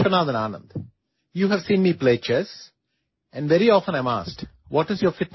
audio